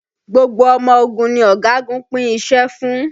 Gbogbo ọmọ ogun ni ọ̀gagun pín iṣẹ́ fún